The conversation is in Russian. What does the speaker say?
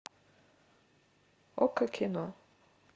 окко кино